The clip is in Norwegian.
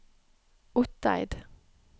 Otteid